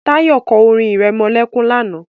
Tayo sang a lullyby yesterda